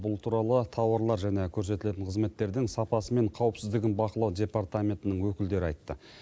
бұл туралы тауарлар және көрсетілетін қызметтердің сапасы мен қаупсіздігін бақылау департаментінің өкілдері айтты